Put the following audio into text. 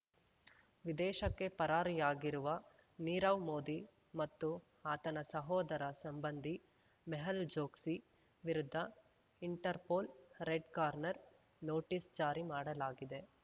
ವಿದೇಶಕ್ಕೆ ಪರಾರಿಯಾಗಿರುವ ನೀರವ್ ಮೋದಿ ಮತ್ತು ಆತನ ಸೋದರ ಸಂಬಂಧಿ ಮೆಹುಲ್ ಚೊಕ್ಸಿ ವಿರುದ್ಧ ಇಂಟರ್‌ಪೋಲ್ ರೆಡ್ ಕಾರ್ನರ್ ನೋಟಿಸ್ ಜಾರಿ ಮಾಡಲಾಗಿದೆ